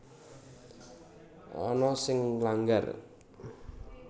Ana sing nglanggar